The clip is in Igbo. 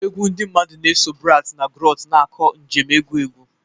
Egwu ndị mmadụ na-eso bards na griots, na-akọ njem egwu egwu.